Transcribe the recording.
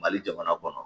Mali jamana kɔnɔ